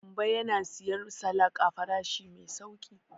Gambo yana siyan salak a farashi mai sauƙi.